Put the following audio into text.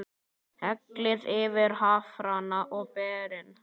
Hellið yfir hafrana og berin.